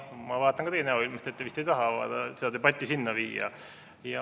Ma vaatan teie näoilmet, te vist ei taha seda debatti selleni viia.